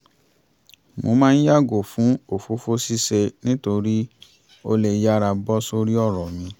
mo máa ń yàgò fún òfófó ṣíṣe nítorí ó lè yára bọ́ sórí ọ̀rọ̀ mi